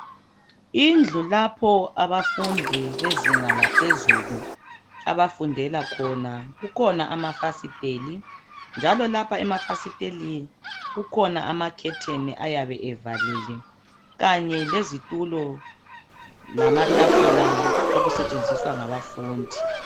Indlu lapho abafundi bezinga laphezulu abafundela khona kukhona amafasiteli njalo lapha emafasiteleni kukhona ama "curtain" ayabe evalile kanye lezitulo lamatafula okusetshenziswa ngabafundi.